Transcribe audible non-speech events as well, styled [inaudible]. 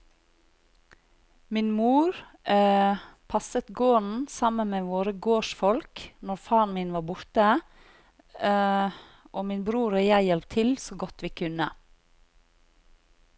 Min mor [hesitation] passet gården sammen med våre gårdsfolk når faren min var borte, [hesitation] og min bror og jeg hjalp til så godt vi kunne.